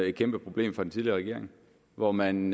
et kæmpe problem fra den tidligere regering hvor man